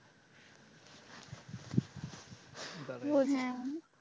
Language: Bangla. বোঝায়ন,